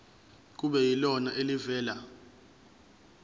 kube yilona elivela